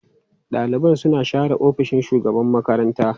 Ɗaliban suna share ofishin shugaban makaranta.